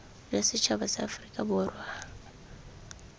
jwa setšhaba sa aforika borwa